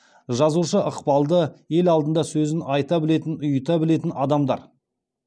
жазушы ықпалды ел алдында сөзін айта білетін ұйыта білетін адамдар